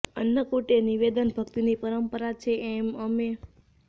અન્નકૂટ એ નિવેદન ભક્તિની પરંપરા છે એમ તેમણે ઉમેર્યું હતું